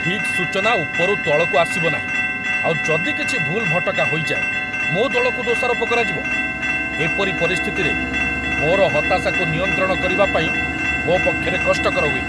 ଠିକ୍ ସୂଚନା ଉପରୁ ତଳକୁ ଆସିବନାହିଁ, ଆଉ ଯଦି କିଛି ଭୁଲ୍ ଭଟକା ହୋଇଯାଏ ମୋ ଦଳକୁ ଦୋଷାରୋପ କରାଯିବ, ଏପରି ପରିସ୍ଥିତିରେ ମୋର ହତାଶାକୁ ନିୟନ୍ତ୍ରଣ କରିବା ପାଇଁ ମୋ ପକ୍ଷରେ କଷ୍ଟକର ହୁଏ।